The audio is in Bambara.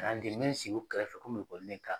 n bɛ sigi u kɛrɛfɛ